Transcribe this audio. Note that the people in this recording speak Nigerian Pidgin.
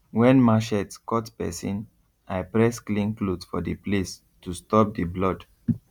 when machete cut person i press clean cloth for the place to stop the blood